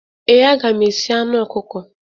Ee, aga m esi anụ ọkụkọ.